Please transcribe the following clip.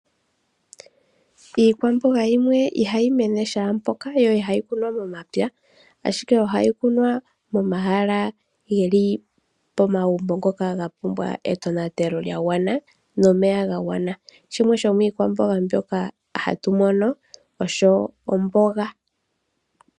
Iikwamboga yimwe ihayi mene kehe mpoka yo ihayi kunwa momapya, ashike ohayi kunwa momahala geli pomagumbo ngoka ga pumbwa etonatelo lya gwana nomeya ga gwana, shimwe shomiikwamboga mbyoka hatu mono osho omboga.